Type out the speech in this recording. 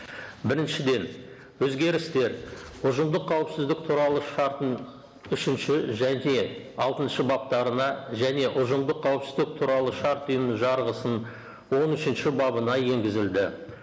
біріншіден өзгерістер ұжымдық қауіпсіздік туралы шартының үшінші және алтыншы баптарына және ұжымдық қауіпсіздік туралы шарт ұйымының жарғысының он үшінші бабына енгізілді